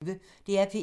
DR P1